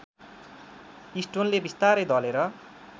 स्टोनले विस्तारै दलेर